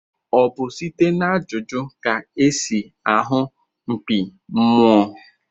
Ọ bụ site n'ajụjụ ka esi ahu mkpi mmụọ?